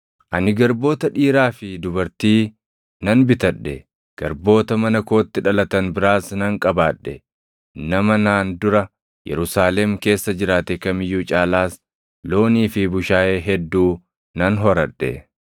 Ani garboota dhiiraa fi dubartii nan bitadhe; garboota mana kootti dhalatan biraas nan qabaadhe; nama naan dura Yerusaalem keessa jiraate kam iyyuu caalaas loonii fi bushaayee hedduu nan horadhe.